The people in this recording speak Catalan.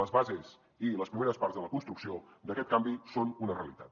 les bases i les primeres parts de la construcció d’aquest canvi són una realitat